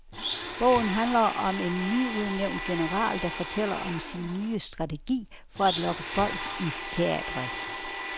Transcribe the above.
Bogen handler om en nyudnævnt general, der fortæller om sin nye strategi for at lokke folk i teatret.